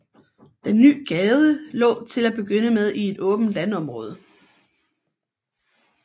Den nye gade lå til at begynde med i et åbent landområde